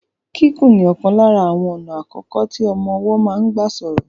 Kíkùn ni ọ̀kan lára àwọn ọ̀nà àkọ́kọ́ tí ọmọ ọwọ́ máa ń gbà sọ̀rọ̀.